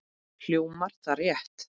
Hljómar það rétt?